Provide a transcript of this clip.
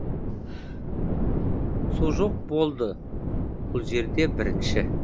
су жоқ болды бұл жерде бірінші